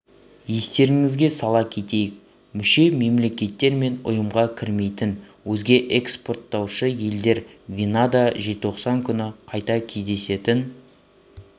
естеріңізге сала кетейік мүше мемлекеттер мен ұйымға кірмейтін өзге экспорттаушы елдер венада желтоқсан күні қайта кездесетін